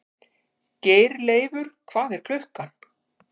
Geirleifur, hvað er klukkan?